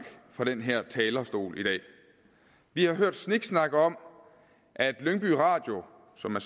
fra den her talerstol i dag vi har hørt sniksnak om at lyngby radio som er